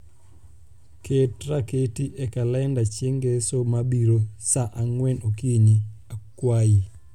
ket raketi e kalenda chieng ngeso mabiro saa angwen okinyi akwayi